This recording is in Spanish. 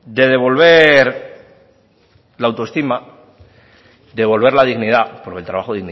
de devolver la autoestima de devolver la dignidad porque el trabajo